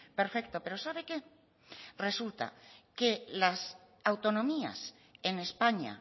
perfecto pero sabe qué resulta que las autonomías en españa